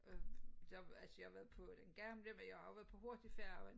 Øh der altså jeg har været på den gamle men jeg har også været på hurtigfærgen